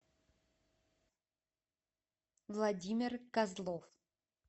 владимир козлов